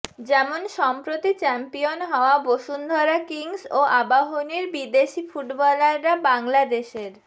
যেমন সম্প্রতি চ্যাম্পিয়ন হওয়া বসুন্ধরা কিংস ও আবাহনীর বিদেশি ফুটবলাররা বাংলাদশের